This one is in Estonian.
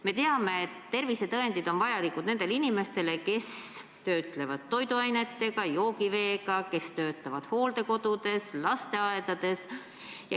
Me teame, et tervisetõendid on vajalikud nendele inimestele, kes töötlevad toiduaineid, joogivett, töötavad hooldekodudes, lasteaedades.